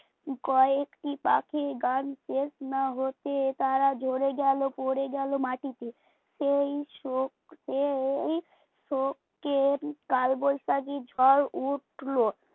কয়েকটি পাখির গান শেষ না হতে তারা ঝরে গেল পড়ে গেল মাটিতে, সেই শোক পেয়েই শোক কালবৈশাখী ঝড় উঠলো